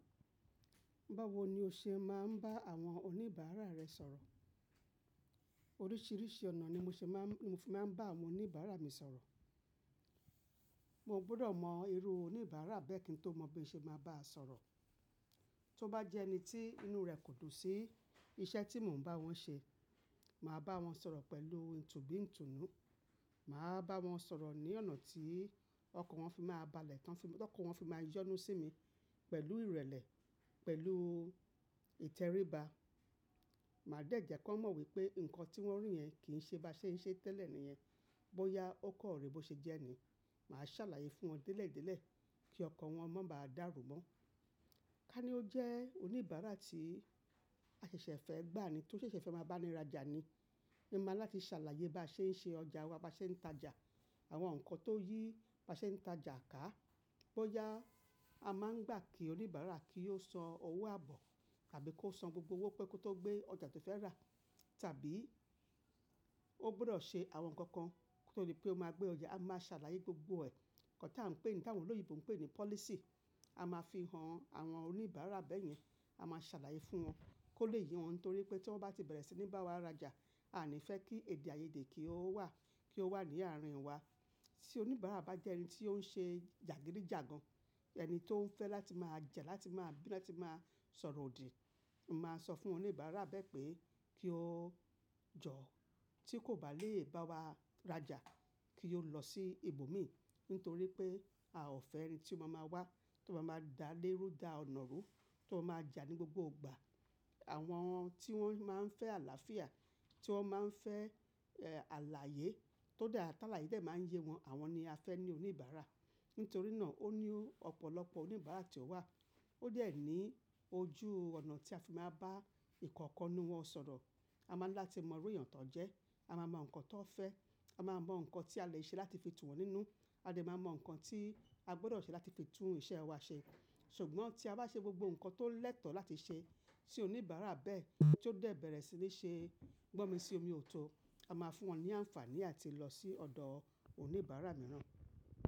Báwo ni o ṣe máa ń bá àwọn oníbàárà rẹ sọ̀rọ̀? Oríṣiríṣi ọ̀nà ni mo ṣe máa ń, mo fi máa ń bá àwọn oníbàárà mi sọ̀rọ̀. Mo gbọ́dọ̀ mọ irú oníbàárà bẹ́ẹ̀ kí n tó mọ bí ṣe máa bá a sọ̀rọ̀. Tó bá jẹ́ ẹni tí inú rẹ̀ kò dùn sí iṣẹ́ tí mò ń bá wọn ṣe, màá bá wọn sọ̀rọ̀ pẹ̀lú ìtùbí ìtùnú. Màá bá wọn sọ̀rọ̀ ní ọ̀nà tí ọkan wọn fi máa balẹ̀ tán, fi, to ọkan wọn fi máa yọ́nú sí mi pẹ̀lú ìrẹ̀lẹ̀, pẹ̀lú ìtẹríba. Màá dẹ̀jẹ̀ kí wọ́n mọ̀ wípé nǹkan tí wọ́n rí yẹn kì ń ṣe bá ṣe ń ṣe tẹ́lẹ̀ nìyẹn. Bóyá ó kan rí bó ṣe jẹ́ ẹni, màá ṣàlàyé fún wọn délẹ̀ délẹ̀ kí ọkan wọn máa darù mọ́. Bá ní ó jẹ́ oníbàárà tí a ṣẹ̀ṣẹ̀ fẹ́ gbà ni, tó ṣẹ̀ṣẹ̀ fẹ́ máa bá ni raja ni, mo máa ń láti ṣàlàyé bá ṣe ń ṣe ọjà wa, bá ṣe ń tàjà, àwọn nǹkan tó yí bá ṣe ń tàjà ká. Bóyá a máa ń gbà kí oníbàárà kí ó san owó àbọ̀ tàbí kó san gbogbo owó pẹ́ ko tó gbé ọjà tó fẹ́ rà tàbí ó gbọ́dọ̀ ṣe àwọn nǹkan kan nítorí pé ó máa gbé ọjà, a máa ṣàlàyé gbogbo ẹ̀. Nǹkan tí à ń pè ní ti awon oloyinbo ń pè ní policy. A máa fi hàn àwọn oníbàárà bẹ́ẹ̀ yẹn. A máa ṣàlàyé fún wọn kó lè yí wọn torí pé tí wọ́n bá ti bẹ̀rẹ̀ sí ní bá wa raja, a ò ní fẹ́ kí èdè àìyedè kí ó wà, kí ó wà ní àárín wa. Tí oníbàárà bá jẹ́ ẹni tí ó ń ṣe jagidijagan, ẹni tó ń fẹ́ láti máa jà, láti máa bí, láti máa sọ̀rọ̀ òdì, mo máa sọ fún oníbàárà bẹ́ẹ̀ pé kí ó jọ̀ tí kò bá lè bá wa raja, kí ó lọ sí ibòmíràn nítorí pé a ò fẹ́ ẹni tí ó máa máa wá, tí ó máa máa dá lé rú dá ọ̀nà rú, tí ó máa jà ní gbogbo ìgbà. Àwọn tí wọ́n máa ń fẹ́ àlàáfíà, tí wọ́n máa ń fẹ́, eh, àlàyé tó dáa, tálàyé de máa ń yé wọn, àwọn ni a fẹ́ ní oníbàárà. Nítorí náà ó ní ọ̀pọ̀lọpọ̀ oníbàárà tí ó wà. Ó dẹ́ẹ̀ ni ojú ọ̀nà tí a fi máa bá ìkọ̀ọ̀kan nínú wọn sọ̀rọ̀. A máa ń láti mọ irú èèyàn tó ń jẹ́, a máa mọ nǹkan tó fẹ́, a máa mọ nǹkan tí a lè ṣe láti fi tún wọ́n nínú, a lè máa mọ nǹkan tí a gbọ́dọ̀ ṣe láti fi tún iṣẹ́ wa ṣe. Ṣùgbọ́n tí a bá ṣe gbogbo nǹkan tó lẹ́tọ̀ láti ṣe, tí oníbàárà bẹ́ẹ̀ tí ó dẹ̀ bẹ̀rẹ̀ sí ní ṣe gbọ́mi sí omi òòtọ́, a máa fún wọn ní àǹfààní àti lọ sí ọ̀dọ̀ oníbàárà mìíràn.